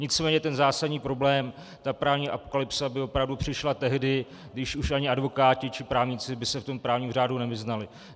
Nicméně ten zásadní problém, ta právní apokalypsa, by opravdu přišla tehdy, když už ani advokáti či právníci by se v tom právním řádu nevyznali.